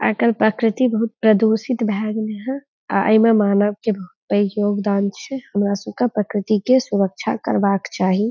आजकल प्रकृति बहुत प्रदूषित भै गेल ह आ इमें मानव के बहुते योगदान छे। हमरा सु का प्राकृतिक के सुरक्षा करवा के चाहीं।